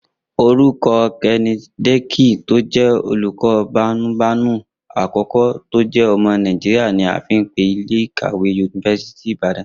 Orúkọ Kenneth Dike tó jẹ́ olóko-bámúbamù àkọ́kọ́ tó jẹ́ ọmọ Nàìjíríà ni a fi pe ilé ìkàwé yunifásítì Ìbàdàn